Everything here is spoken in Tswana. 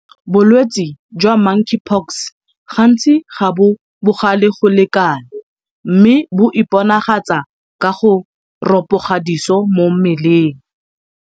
Bolwetse jwa Monkeypox gantsi ga bo bogale go le kalo mme bo iponagatsa ka go ropoga diso mo mmeleng.